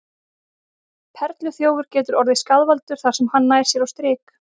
Perluþjófur getur orðið skaðvaldur þar sem hann nær sér á strik.